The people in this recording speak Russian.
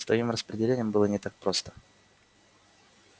с твоим распределением было не так просто